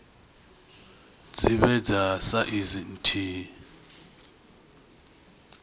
dzi vhe dza saizi nthihi